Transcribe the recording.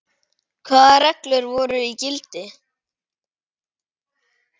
Hvaða reglur voru í gildi?